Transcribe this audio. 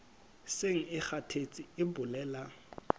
seng e kgathetse e bolela